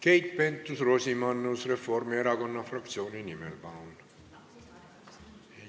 Keit Pentus-Rosimannus Reformierakonna fraktsiooni nimel, palun!